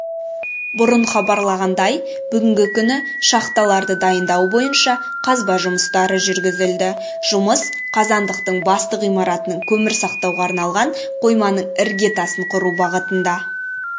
бұрын хабарланғандай бүгінгі күні шахталарды дайындау бойынша қазба жұмыстары жүргізілді жұмыс қазандықтың басты ғимаратының көмір сақтауға арналған қойманың іргетасын құру бағытында